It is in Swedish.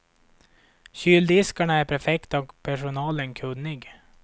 Kyldiskarna är perfekta och personalen kunnig.